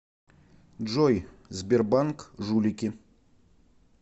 джой сбербанк жулики